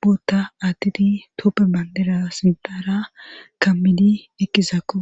bootta addidi tope bandira sindara kammidi eqqisakko.